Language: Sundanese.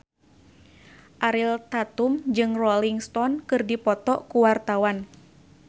Ariel Tatum jeung Rolling Stone keur dipoto ku wartawan